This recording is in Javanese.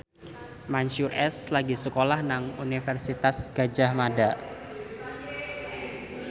Mansyur S lagi sekolah nang Universitas Gadjah Mada